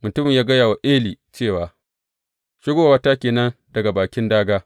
Mutumin ya gaya wa Eli cewa, Shigowata ke nan daga bakin dāgā.